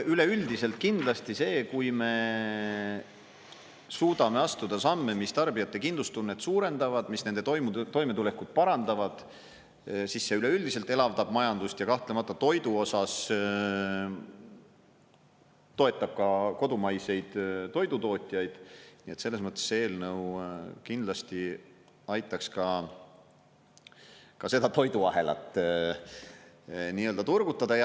Üleüldiselt kindlasti see, kui me suudame astuda samme, mis tarbijate kindlustunnet suurendavad, mis nende toimetulekut parandavad, siis see üleüldiselt elavdab majandust ja kahtlemata toidu osas toetab ka kodumaiseid toidutootjaid, nii et selles mõttes see eelnõu kindlasti aitaks ka seda toiduahelat turgutada.